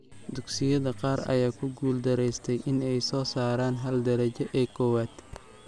Dugsiyada qaar ayaa ku guul daraystay in ay soo saaraan hal darajoo ee koowaad.